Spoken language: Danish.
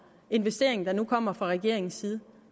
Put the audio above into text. investering der nu kommer fra regeringens side